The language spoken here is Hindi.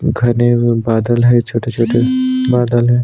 घने हुए बादल है छोटे-छोटे बादल है ।